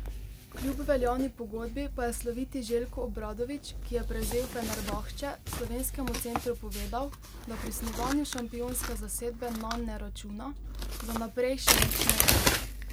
Kljub veljavni pogodbi, pa je sloviti Željko Obradović, ki je prevzel Fenerbahče, slovenskemu centru povedal, da pri snovanju šampionske zasedbe nanj ne računa: 'Za naprej še nič ne vem.